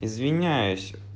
извиняюсь